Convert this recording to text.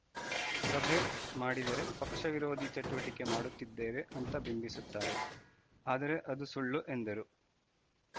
ಸಭೆ ಮಾಡಿದರೆ ಪಕ್ಷ ವಿರೋಧಿ ಚಟುವಟಿಕೆ ಮಾಡುತ್ತಿದ್ದೇವೆ ಅಂತಾ ಬಿಂಬಿಸುತ್ತಾರೆ ಆದರೇ ಅದು ಸುಳ್ಳು ಎಂದರು